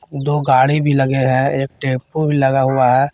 दो गाड़ी भी लगे हैं एक टेंपो भी लगा हुआ है।